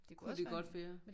Det kunne det godt være